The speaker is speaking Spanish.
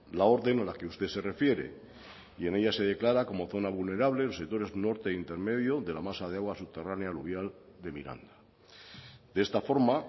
la orden a la que usted se refiere y en ella se declara como zona vulnerable los sectores norte intermedio de la masa de agua subterránea aluvial de miranda de esta forma